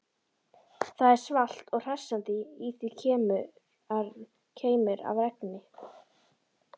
Það er svalt og hressandi, í því keimur af regni.